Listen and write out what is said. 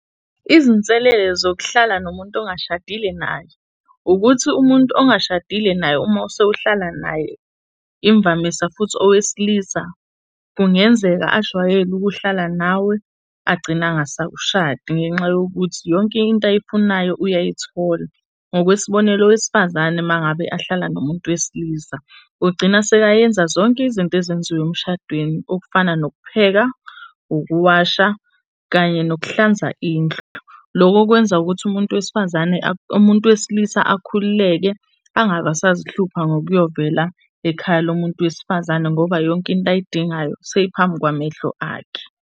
Izinselele zokuhlala nomuntu ongashadile naye, ukuthi umuntu ongashadile naye uma sewuhlala naye, imvamisa futhi owesilisa kungenzeka ajwayele ukuhlala nawe agcina angasakushadi ngenxa yokuthi yonke into ayifunayo uyayithola. Ngokwesibonelo, owesifazane uma ngabe ahlala nomuntu wesilisa ugcina sekayenza zonke izinto ezenziwa emshadweni okufana nokupheka, ukuwasha kanye nokuhlanza indlu. Loko kwenza ukuthi umuntu wesifazane, umuntu wesilisa akhululeke angaba sazihlupha ngokuyovela ekhaya lomuntu wesifazane ngoba yonke into ayidingayo seyiphambi kwamehlo akhe.